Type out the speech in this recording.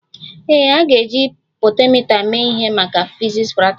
Ee, a ga-eji potentiomita mee ihe maka fiziks praktikal